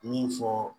Min fɔ